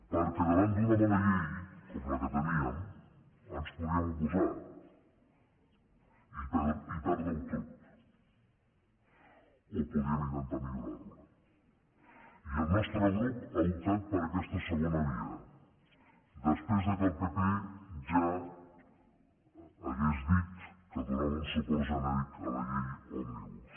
perquè davant d’una mala llei com la que teníem ens hi podíem oposar i perdre ho tot o podíem intentar millorar la i el nostre grup ha optat per aquesta segona via després que el pp ja hagués dit que donava un suport genèric a la llei òmnibus